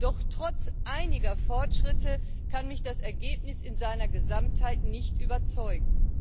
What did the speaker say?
Doch trotz einiger Fortschritte kann mich das Ergebnis in seiner Gesamtheit nicht überzeugen.